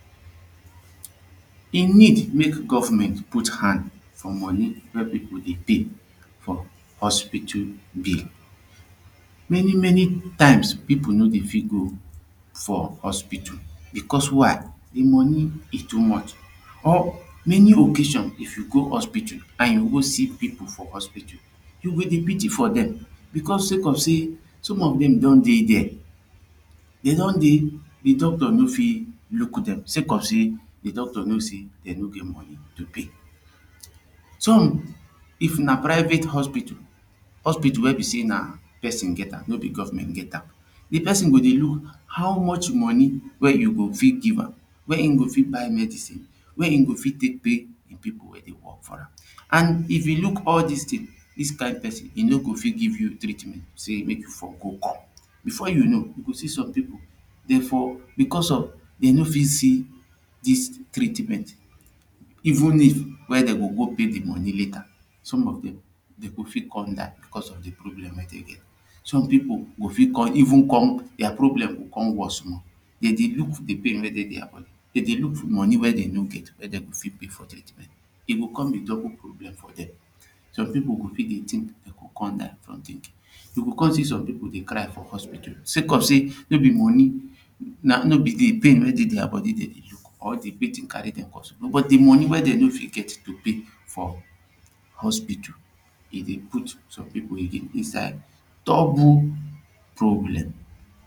E need mek gofment put hand for money wey people dey pay for hospital bill. Many many times people no dey fit go for hospital beccos why de money e too much or many occasion if you go hospital now you go go see people for hospital you go dey pity for dem becos seh some of dem don dey deh dey don deh de doctor no fit look dem sake seh de doctor know say dem no get money to pay. Som if na private hospital hospital wey be seh na person get am no be gofment get am, de person go dey look how much money wey you go fit give am wey him go fit buy medicine wey him go fit tek beg the people wey dey work for am an if you look all dis tings dis kind person e no go fit give you treatment say mek you for go come before you know you go see som people dem for becos of dem no fit see dis treatment evun if wen dem go go pay the money leta some of dem dem go fit come die becos of de problem wey dey dey. Some people go fit com evun com problem go com worst morede y dey look de pain wey dey dia body dey dey look money wey dem no get wey dem go fit pay for treatment e go com be double problem for dem some people go fit som people go begin dey tink dey go com die from tinkin. You go com see som people dey cry for hospital second seh no be money na no be de pain wey dey dia body deydey look or de pity wey dem cause but the money wey dem no fit get to pay for hospital e dey put som people inside double problem.